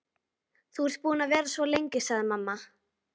Þú ert búin að vera svo lengi, sagði mamma.